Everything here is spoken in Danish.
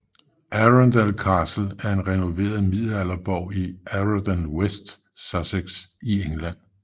Arundel Castle er en renoveret middelalderborg i Arundel iWest Sussex i England